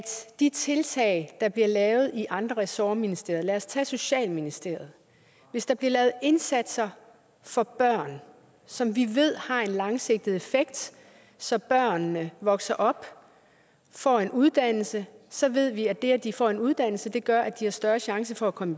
de tiltag der bliver lavet i andre ressortministerier lad os tage socialministeriet hvis der bliver lavet indsatser for børn som vi ved har en langsigtet effekt så børnene vokser op får en uddannelse så ved vi at det at de får en uddannelse gør at de har større chance for at komme